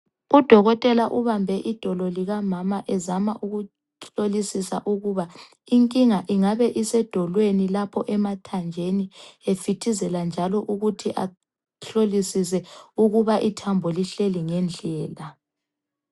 Udokotela ubambe idolo likamama ezama ukuhlolisisisa ukuba inkinga ingabe isedolweni lapho emathanjeni, efithizela njalo ukuthi ahlolisise ukuba ithambo lihleli ngendlela.